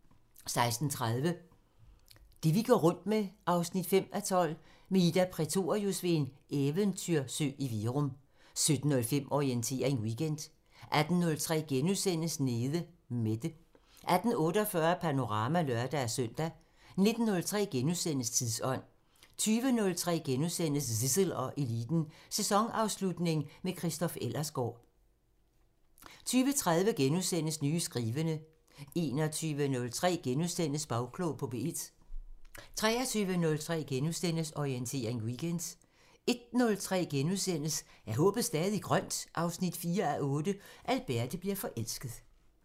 16:30: Det vi går rundt med 5:12 – Med Ida Prætorius ved en eventyrsø i Virum 17:05: Orientering Weekend 18:03: Nede Mette * 18:48: Panorama (lør-søn) 19:03: Tidsånd * 20:03: Zissel og Eliten: Sæsonafslutning med Christoph Ellersgaard * 20:30: Nye skrivende * 21:03: Bagklog på P1 * 23:03: Orientering Weekend * 01:03: Er håbet stadig grønt? 4:8 – Alberte bliver forelsket *